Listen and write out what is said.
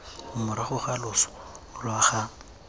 morago ga loso lwa ga